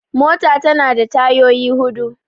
mota tana da tayyoyi hudu